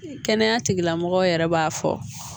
Kɛnɛya tigilamɔgɔw yɛrɛ b'a fɔ